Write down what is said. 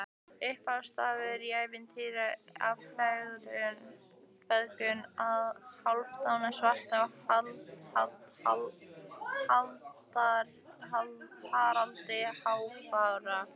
Upphafsstafur í ævintýri af feðgunum Hálfdani svarta og Haraldi hárfagra.